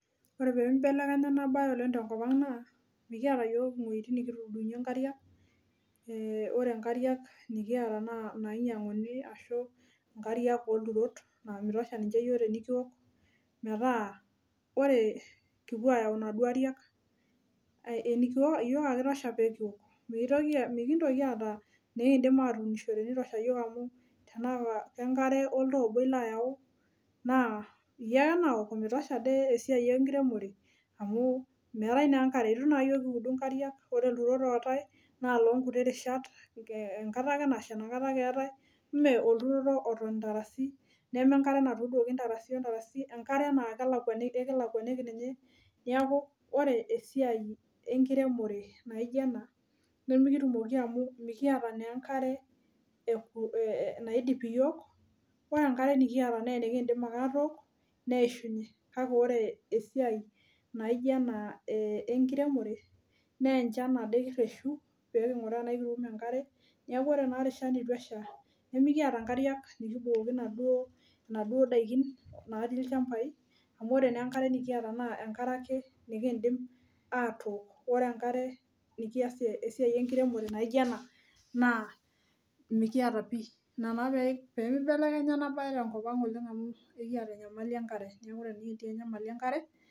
Ore pee nibelekenya ena bae oleng tenkop ang' naa mikiata iyiook iwuejitin nikituudunye nkariak, ore nkariak nikiata naa Inainyianguni, ashu inooltrot naa mitosha ninche iyiook tenikiok. metaa ore ekipuo ayau nkariak, iyiook ake itisha pee kiok. Mikintoki aata inikiidim atuunishore. mitosha iyiook amu tenaa lenkare oltoo obo ilo ayau, naa iyie ake naok, mitosha ade, esiai enkiremore amu meetae naa enkare ore ilturot ootae naa iloo nkuti rishat, enkata ake nasha, inakata ake eetae, ime olturoto oton ntarasi, enkare naa kelakuaniki ninye. neeku, ore esiai enkiremore naijo ena nemikitumoki amu mikiata naa enkare naidip iyiook, ore enkare nikiata naa enikiidim ake atook, neishunye kake ore esiai naijo ena enkiremore. Naa enchan as kireshu pee kinguraa tenaa ekitum enkare, neeku ore enkata neitu esha, nimikaita nkariak nkibukoki Inasuo daikin natii ilchampai amu, ore naa enkare nikiata naa enkare ake nikidim atook. Ore enkare nikiasie esiai enkiremore naijo ena naa mikiata pii.